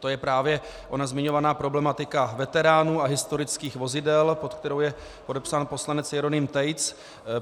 to je právě ona zmiňovaná problematika veteránů a historických vozidel, pod kterou je podepsán poslanec Jeroným Tejc.